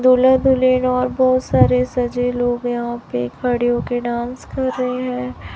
दूल्हा दुल्हेन और बहुत सारे सजे लोग यहाँ पे खड़े होके डांस कर रहें हैं।